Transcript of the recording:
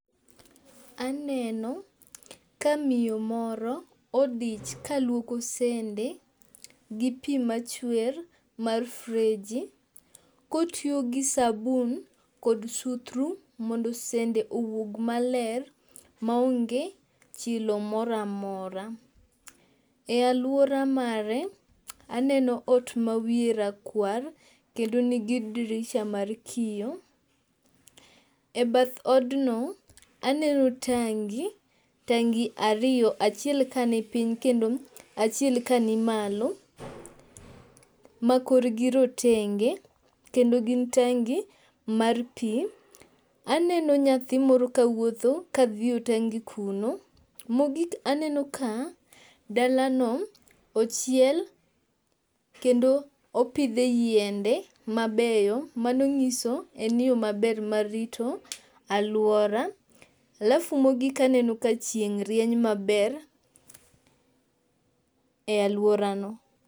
Aneno ka miyo moro odich kalwoko sende gi pi machwer mar freji kotiyo gi sabun kod suthru mondo sende owuog maler m aonge chilo mora mora. E alwora mare, aneno ot mawiye rakwar kendo nigi dirisha mar kiyo. E bath odno, aneno tangi, tangi ariyo, achiel kanipiny kendo achiel kani malo, ma korgi rotenge kendo gin tangi mar pi. Aneno nyathi moro kawuotho, ka dhi yo tangi kuno. Mogik aneno ka dalano ochiel kendo opidhe yiende mabeyo, mano nyiso en yo maber mar rito alwora. alafu mogik aneno ka chieng' rieny maber e alworano.